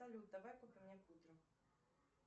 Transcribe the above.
салют давай пока не будем